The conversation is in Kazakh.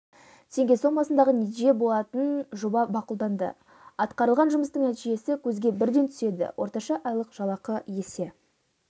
теңге сомасындағы несие болатын жоба мақұлданды атқарылған жұмыстың нәтижесі көзге бірден түседі орташа айлық жалақы есе